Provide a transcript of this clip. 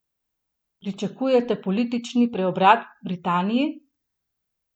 Pričakujete politični preobrat v Britaniji?